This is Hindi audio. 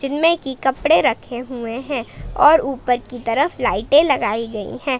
में की कपड़े रखे हुए हैं और ऊपर की तरफ लाइटें लगाई गई हैं।